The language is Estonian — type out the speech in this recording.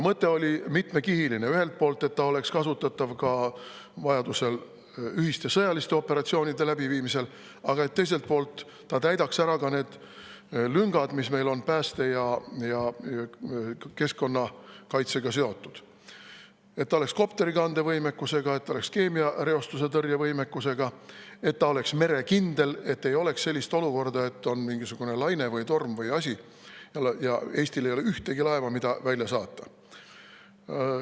Mõte oli mitmekihiline: et see ühelt poolt oleks kasutatav vajaduse korral ühiste sõjaliste operatsioonide läbiviimisel, aga teiselt poolt täidaks ära need lüngad, mis meil on pääste ja keskkonnakaitsega seotud, et ta oleks kopterikande võimekusega, et ta oleks keemiareostuse tõrje võimekusega, et ta oleks merekindel ning et ei oleks sellist olukorda, et on mingisugune laine või torm või asi, aga Eestil ei ole ühtegi laeva, mida välja saata.